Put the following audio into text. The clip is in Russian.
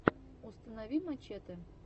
установи мачэтэ